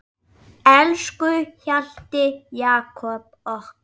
Elsku Hjalti Jakob okkar.